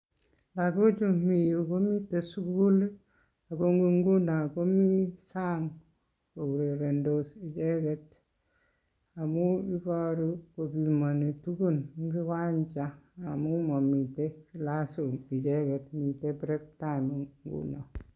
Lokochu mii yuu komiten sukul ak ko ng'unon komii sang kourerendos icheket amun iboru kopimoni tukun eng' kiwanja amun momiten class room icheket miten break time ng'unon.